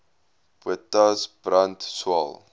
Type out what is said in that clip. potas brand swael